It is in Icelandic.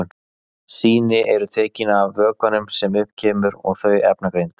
Sýni eru tekin af vökvanum sem upp kemur og þau efnagreind.